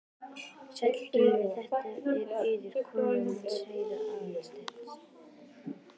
Sæll, Gylfi, þetta er Urður, konan hans séra Aðal steins.